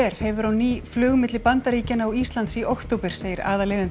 hefur á ný flug milli Bandaríkjanna og Íslands í október segir aðaleigandi